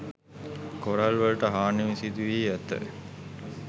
coral වලට හානි සිදු වී ඇත